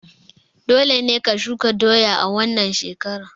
Dole ne ka shuka doya a wannan shekarar!